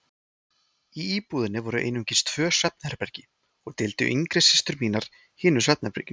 Í íbúðinni voru einungis tvö svefnherbergi og deildu yngri systur mínar hinu herberginu.